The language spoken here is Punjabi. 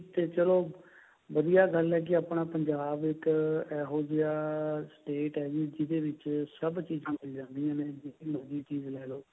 ਤੇ ਚਲੋ ਵਧੀਆ ਗੱਲ ਹੈ ਕਿ ਆਪਣਾ ਪੰਜਾਬ ਇੱਕ ਏਹੋ ਜਿਹਾ state ਹੈ ਜਿਹੜੇ ਵਿੱਚ ਸਬ ਚੀਜਾਂ ਮਿਲ ਜਾਂਦੀਆਂ ਨੇ ਜਿਹੜੀ ਮਰਜੀ ਚੀਜ ਲੈ ਲਓ